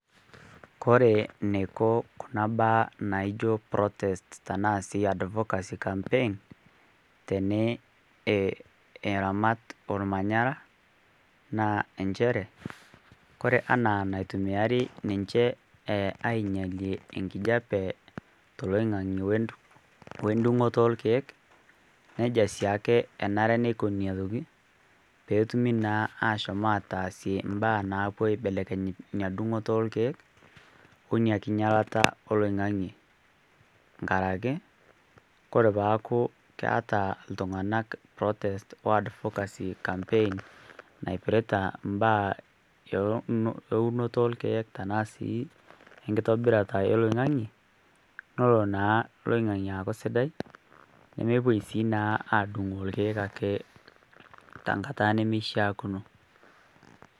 Kore neiko kuna baaa naijo protest tanaa sii advocacy campaigns teneramat lmanyara naa enchere kore anaa naitumiyari ninche ainyalie enkijape to loing'ang'ie o ndumg'oto o lkeek neja siake enare neikoni atioki peetumi naa aashom aataasie mbaa naapuo aibelekeny nia dung'oto o lkeek o nia kinyalata o loing'ang'ie nkaraki kore paaku keata ltung'ana protest o advocay campaign naipiriata mbaa e unoto o lkeek tanaa sii nkitobirata e loing'ang'ie nolo naa loing'ang'ie aaku sidai nomopuoi sii aadung' lkeek te nkata nemeishiakino.